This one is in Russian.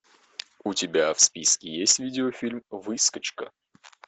у тебя в списке есть видеофильм выскочка